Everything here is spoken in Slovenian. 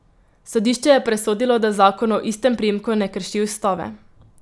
Sodišče je presodilo, da zakon o istem priimku ne krši ustave.